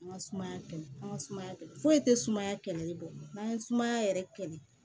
An ka sumaya kɛlɛ an ka sumaya kɛ foyi tɛ sumaya kɛlɛ bɔ n'an ye sumaya yɛrɛ kɛlɛ